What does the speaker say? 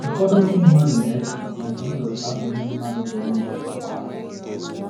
Ụfọdụ ndị na - eche na Jizọs abụghị mmadụ dịrị ndụ n’ụwa a.